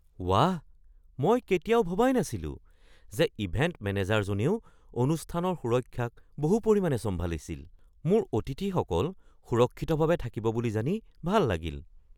ৱাহ, মই কেতিয়াও ভবাই নাছিলো যে ইভেণ্ট মেনেজাৰজনেও অনুষ্ঠানৰ সুৰক্ষাক বহু পৰিমাণে চম্ভালিছিল! মোৰ অতিথিসকল সুৰক্ষিতভাৱে থাকিব বুলি জানি ভাল লাগিল।